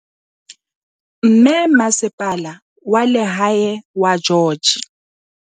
Mme Masepala wa Lehae wa George.